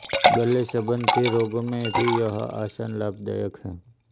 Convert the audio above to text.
गले संबंधी रोगों में भी यह आसन लाभदायक है